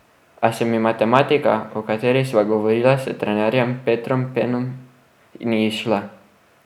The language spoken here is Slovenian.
A se mi matematika, o kateri sva govorila s trenerjem Petrom Penom, ni izšla.